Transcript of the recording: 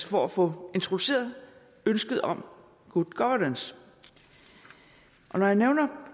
for at få introduceret ønsket om good governance når jeg nævner